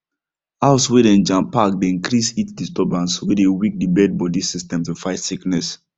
house way dey jam pack dey increase heat disturbance way dey weak the birds body system to fight sickness